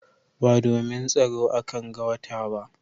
Ba domin tsaro a kan ga wata ba